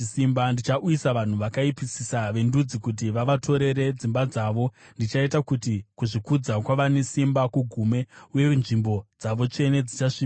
Ndichauyisa vanhu vakaipisisa vendudzi kuti vavatorere dzimba dzavo; ndichaita kuti kuzvikudza kwavane simba kugume, uye nzvimbo dzavo tsvene dzichasvibiswa.